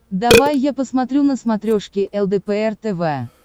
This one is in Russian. давай я посмотрю на смотрешке лдпр тв